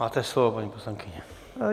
Máte slovo, paní poslankyně.